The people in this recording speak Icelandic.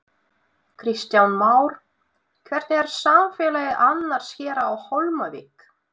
Kristján Már: Hvernig er samfélagið annars hér á Hólmavík?